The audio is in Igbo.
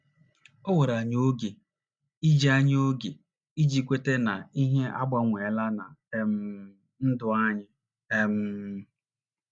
O were anyị oge iji anyị oge iji kweta na ihe agbanweela ná um ndụ anyị. um